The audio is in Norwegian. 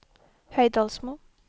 Høydalsmo